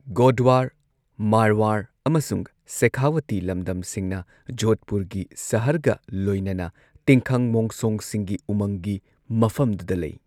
ꯒꯣꯗꯋꯥꯔ, ꯃꯥꯔꯋꯥꯔ, ꯑꯃꯁꯨꯡ ꯁꯦꯈꯥꯋꯥꯇꯤ ꯂꯝꯗꯝꯁꯤꯡꯅ ꯖꯣꯙꯄꯨꯔꯒꯤ ꯁꯍꯔꯒ ꯂꯣꯏꯅꯅ ꯇꯤꯡꯈꯪ ꯃꯣꯡꯁꯣꯡꯁꯤꯡꯒꯤ ꯎꯃꯪꯒꯤ ꯃꯐꯝꯗꯨꯗ ꯂꯩ꯫